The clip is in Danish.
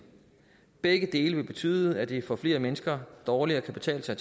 begge dele vil betyde at det for flere mennesker dårligere kan betale sig